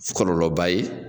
Fɔ Kɔlɔlɔba ye